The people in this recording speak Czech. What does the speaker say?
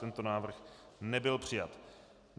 Tento návrh nebyl přijat.